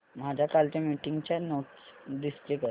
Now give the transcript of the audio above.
माझ्या कालच्या मीटिंगच्या नोट्स डिस्प्ले कर